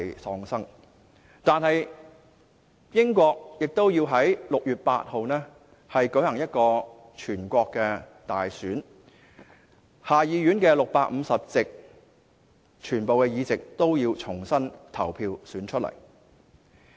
儘管如此，英國仍要在6月8日舉行全國大選，重新投票選出下議院全部的650席。